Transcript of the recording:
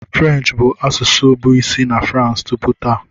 French bụ asụsụ bụ isi na France tupu taa.